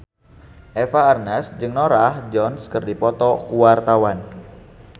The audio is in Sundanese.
Eva Arnaz jeung Norah Jones keur dipoto ku wartawan